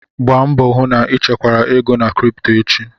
Gbaa mbọ hụ na ị na-echekwara ego na krịptọ echi